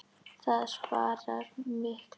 Það sparar mikla orku.